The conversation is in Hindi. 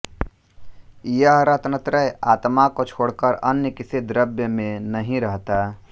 यह रत्नत्रय आत्मा को छोड़कर अन्य किसी द्रव्य में नहीं रहता